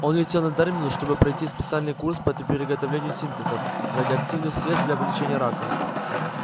он летел на терминус чтобы пройти специальный курс по приготовлению синтетов радиоактивных средств для лечения рака